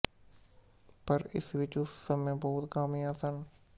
ਪਰ ਇਸ ਵਿੱਚ ਉਸ ਸਮੇਂ ਬਹੁਤ ਖ਼ਾਮੀਆਂ ਸਨ